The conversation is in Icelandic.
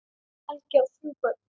Helgi á þrjú börn.